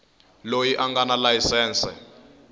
loyi a nga na layisense